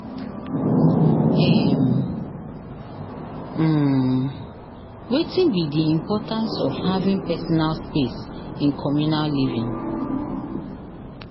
um um wetin be di importance of having personal space in communal living?